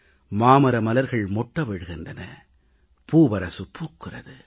மாமரமலர்கள் மொட்டவிழ்கின்றன பூவரசு பூக்கிறது